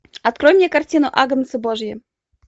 открой мне картину агнцы божьи